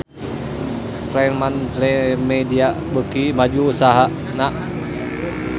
Fremantlemedia beuki maju usahana